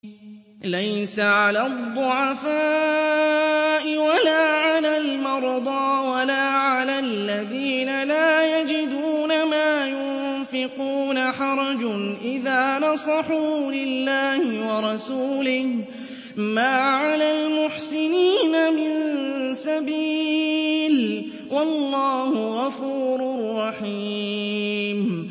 لَّيْسَ عَلَى الضُّعَفَاءِ وَلَا عَلَى الْمَرْضَىٰ وَلَا عَلَى الَّذِينَ لَا يَجِدُونَ مَا يُنفِقُونَ حَرَجٌ إِذَا نَصَحُوا لِلَّهِ وَرَسُولِهِ ۚ مَا عَلَى الْمُحْسِنِينَ مِن سَبِيلٍ ۚ وَاللَّهُ غَفُورٌ رَّحِيمٌ